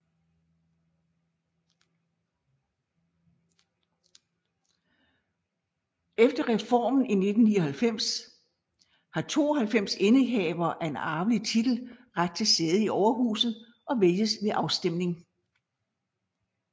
Efter reformen i 1999 har 92 indehavere af en arvelig titel ret til sæde i Overhuset og vælges ved afstemning